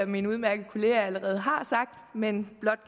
min udmærkede kollega allerede har sagt men blot